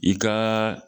I ka